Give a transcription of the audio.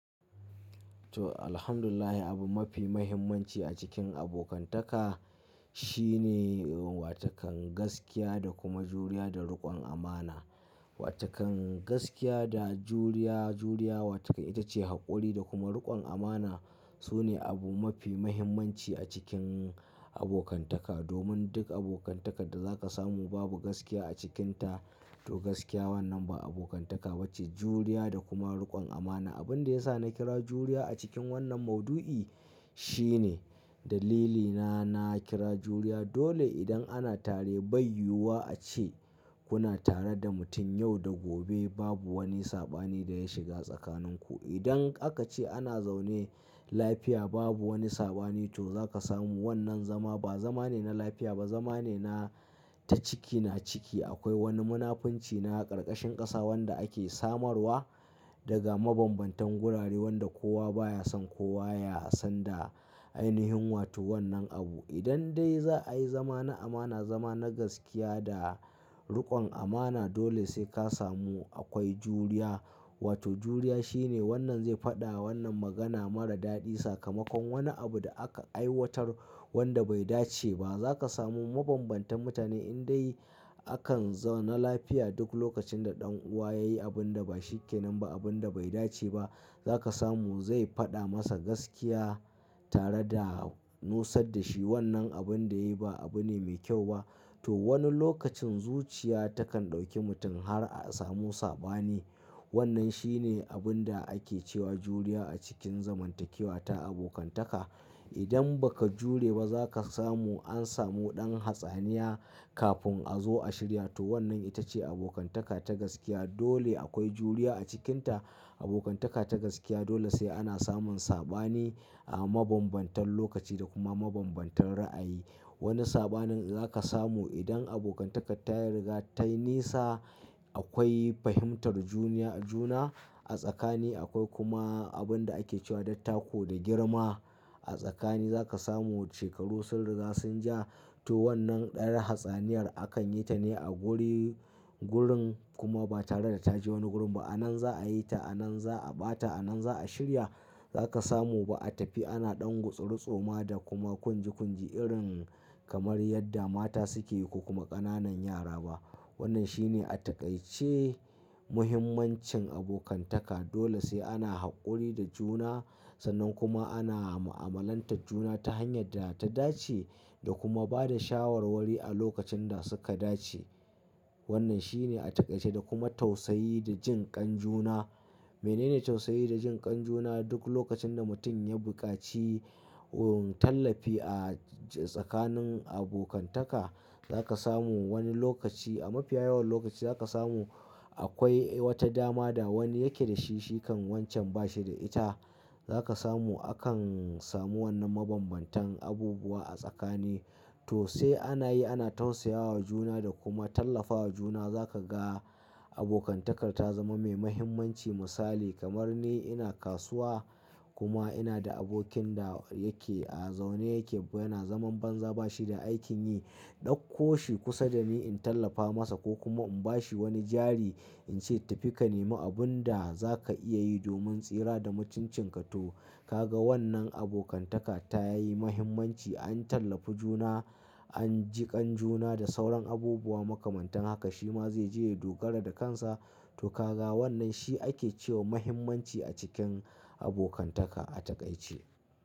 Toh, Alhamdulillahi. Abu mafi muhimmanci a cikin abokantaka shine watakan gaskiya da kuma juriya da riƙon amana. Wa taken gaskiya da juriya, juriya wa taken ita ce haƙuri da kuma riƙon amana. Su ne abu mafi muhimmanci a cikin abokantaka. Domin duk abokantakan da za ka samu babu gaskiya a cikinta to gaskiya wannan ba abokantaka ba ce. Juriya da kuma riƙon amana. Abin da ya sa na kira juriya a cikin wannan mauɗu'i shine dalilina na kira juriya dole idan ana tare bai yiwuwa a ce kuna tare da mutum yau da gobe babu wani saɓani da ya shiga tsakaninku. Idan aka ce ana zaune lafiya babu wani saɓani to za ka samu wannan zama ba zama ne na lafiya ba, zama ne na ta ciki na ciki. Akwai wani munafunci na ƙarƙashin ƙasa wanda ake samarwa daga mabambantan gurare wanda kowa baya son kowa ya sanda ainihin wato wannan abu. Idan dai za'a yi zama na amana, zama na gaskiya da. Riƙon amana dole sai ka samu akwai juriya. Wato juriya shine wannan zai faɗa wannan magana mara daɗi sakamakon wani abu da aka aiwatar wanda bai dace ba. Zaka samu mabambantan mutane in dai akan zauna lafiya duk lokacin da ɗan'uwa yayi abun da ba shi ke nan ba, abun da bai dace ba za ka samu zai faɗa masa gaskiya tare da nusar da shi wannan abun da yayi ba abu ne mai kyau ba. To wani lokacin zuciya takan ɗauki mutum har a samu saɓani. Wannan shine abun da ake cewa juriya a cikin zamantakewa ta abokantaka. Idan ba ka jure ba za ka samu an samu ɗan hatsaniya kafin a zo a shirya. To wannan ita ce abokantaka ta gaskiya. Dole akwai juriya a cikinta. Abokantaka ta gaskiya dole sai ana samun saɓani a mabambantan lokaci da kuma mabambantan ra'ayi. Wani saɓanin za ka samu idan abokantaka ta riga ta nisa akwai fahimtar juna a tsakani. Akwai kuma abun da ake cewa dattako da girma a tsakani. Zaka samu shekaru sun riga sun ja. To wannan yar hatsaniyar akan yi ta ne a guri-gurin kuma ba tare da ta je wani gurin ba. A nan za a yi ta, a nan za a ɓata, a nan za a shirya. Zaka samu ba a tafi ana ɗan gutsiritsoma da kuma kunji kunji irin kamar yadda mata suke yi ko kuma ƙananan yara ba. Wannan shi ne a taƙaice muhimmancin abokantaka. Dole sai ana haƙuri da juna sannan kuma ana mu'amalantar juna ta hanyar da ta dace da kuma ba da shawarwari a lokacin da suka dace. Wannan shi ne a taƙaice da kuma tausayi da jin kan juna. Menene tausayi da jin kan juna? Duk lokacin da mutum ya buƙaci Tallafi a tsakanin abokantaka. Zaka samu wani lokaci a mafiya yawan lokaci za ka samu. Akwai wata dama da wani yake da shi, shi kam wancen ba shi da ita. Za ka samu akan samu wannan mabambantan abubuwa a tsakani. To sai ana yi, ana tausayawa juna da kuma tallafawa juna za ka ga abokantaka ta zama mai muhimmanci. Misali kamar ni ina kasuwa. Kuma ina da abokin da yake a zaune yake yana zaman banza ba shi da aikin yi. Ɗauko shi kusa da ni in tallafa masa ko kuma in bashi wani jari in ce tafi ka nemi abun da za ka iya yi domin tsira da mutuncin ka. To ka ga wannan abokantaka ta yi muhimmanci. An tallafi juna, an ji kan juna da sauran abubuwa makamantan haka. Shi ma zai je ya dogara da kansa. To ka ga wannan shi ake cewa muhimmanci a cikin abokantaka a taƙaice.